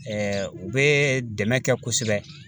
u bɛ dɛmɛ kɛ kosɛbɛ.